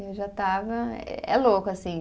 Eu já estava, eh é louco, assim.